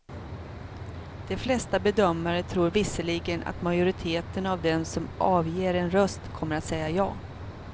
De flesta bedömare tror visserligen att majoriteten av dem som avger en röst kommer att säga ja.